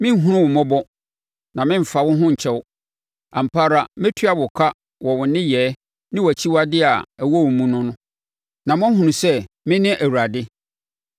Merenhunu wo mmɔbɔ na meremfa wo ho nkyɛ wo. Ampa ara mɛtua wo ka wɔ wo nneyɛɛ ne wʼakyiwadeɛ a ɛwɔ wo mu no, na moahunu sɛ me ne Awurade.’